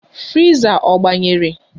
Friza ọ gbanyere?